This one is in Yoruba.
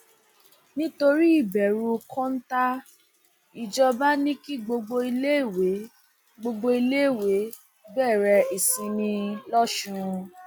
nítorí ìbẹrù kóńtà ìjọba ni kí gbogbo iléèwé gbogbo iléèwé bẹrẹ ìsinmi lọsùn